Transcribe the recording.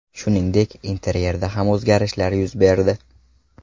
Shuningdek, interyerda ham o‘zgarishlar yuz berdi.